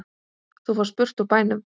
Þú fórst burt úr bænum.